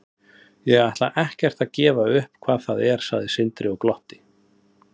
Ég ætla ekkert að gefa upp hvað það er, sagði Sindri og glotti.